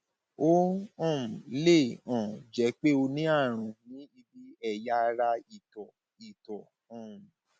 ó um lè um jẹ pé o ní àrùn ní ibi ẹyà ara ìtọ ìtọ um